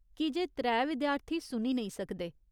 कीजे त्रै विद्यार्थी सुनी नेईं सकदे।